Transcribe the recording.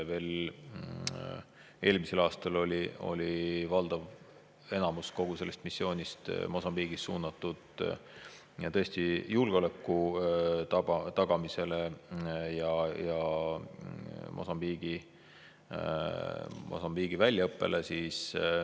Veel eelmisel aastal oli valdav enamus kogu sellest missioonist Mosambiigis suunatud julgeoleku tagamisele ja mosambiiklaste väljaõppele.